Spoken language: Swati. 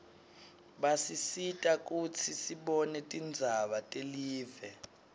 basisita kutsi sibone tindzaba telive